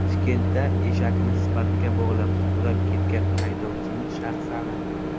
Toshkentda eshakni Spark’ga bog‘lab, sudrab ketgan haydovchining shaxsi aniqlandi.